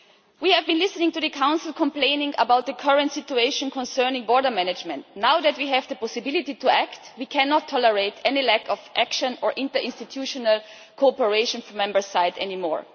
We have been listening to the Council complaining about the current situation concerning border management. Now that we have the possibility to act, we cannot tolerate any lack of action or interinstitutional cooperation from the Member States' side any more.